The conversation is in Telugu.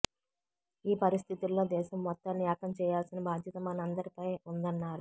ఈ పరిస్థితుల్లో దేశం మొత్తాన్ని ఏకం చేయాల్సిన బాధ్యత మనందరిపై ఉందన్నారు